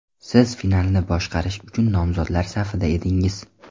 Siz finalni boshqarish uchun nomzodlar safida edingiz.